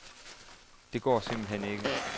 Det går simpelt hen ikke.